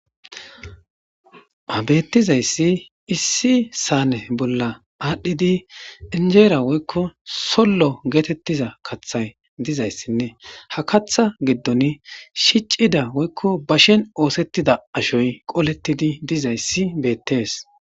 Ha betizaysi issi saane bolla adhid onjera woyko solo geteyiza kathi dizaysanne habkatha goddono shicida woyko bashen osetida ashoy qoletid dizaysi betes